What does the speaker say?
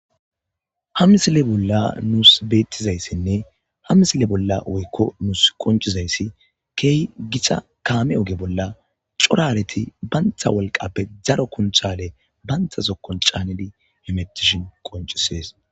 ha misile bolla nuus beettizayssinne ha misile bolla woykko nuus qoncizayssi keehi gixa kaame oge bolla corareti bantha wolqappe zaro kunthale bantha zokon caanidi hemetishin qoncisees